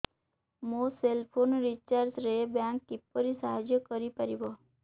ମୋ cell phone recharge ରେ bank କିପରି ସାହାଯ୍ୟ କରିପାରିବ